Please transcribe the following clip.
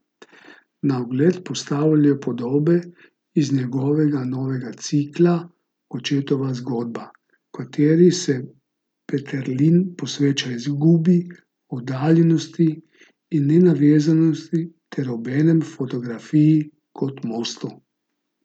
Na ogled postavljajo podobe iz njegovega novega cikla Očetova zgodba, v kateri se Peterlin posveča izgubi, oddaljenosti in navezanosti ter obenem fotografiji kot mostu.